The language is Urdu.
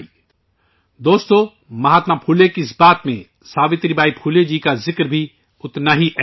ساتھیو ، مہاتما پھولے کے اس ذکر میں ساوتری بائی پھولے جی کا ذکر بھی اتنا ہی ضروری ہے